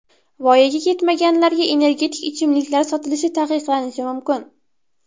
Voyaga yetmaganlarga energetik ichimliklar sotilishi taqiqlanishi mumkin.